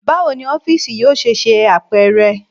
Bawo ni ọfiisi yoo ṣe ṣe apẹrẹ?